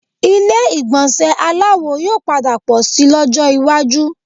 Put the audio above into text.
Ilé ìgbọ̀nsẹ̀ aláwo yóò padà pọ̀ síi lọ́jọ́ iwájú